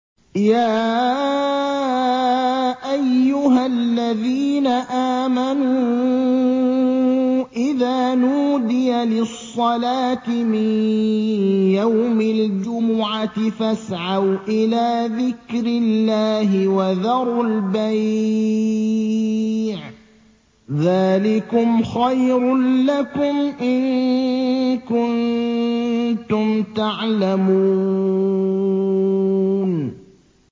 يَا أَيُّهَا الَّذِينَ آمَنُوا إِذَا نُودِيَ لِلصَّلَاةِ مِن يَوْمِ الْجُمُعَةِ فَاسْعَوْا إِلَىٰ ذِكْرِ اللَّهِ وَذَرُوا الْبَيْعَ ۚ ذَٰلِكُمْ خَيْرٌ لَّكُمْ إِن كُنتُمْ تَعْلَمُونَ